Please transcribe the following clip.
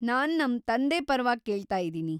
ನಾನ್‌ ನಮ್‌ ತಂದೆ ಪರ್ವಾಗಿ ಕೇಳ್ತಾಯಿದೀನಿ.